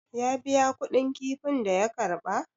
ya biya kuɗin kifin da ya karba?